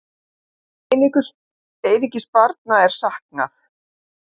Einungis barna er saknað.